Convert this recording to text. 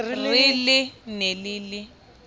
re le ne le le